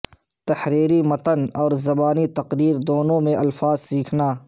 تحریری متن اور زبانی تقریر دونوں میں الفاظ سیکھنا